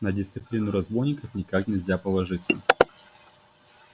на дисциплину разбойников никак нельзя положиться